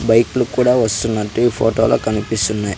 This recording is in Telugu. బైకులు కూడా వస్తున్నట్టు ఈ ఫోటోలు కనిపిస్తున్నాయి.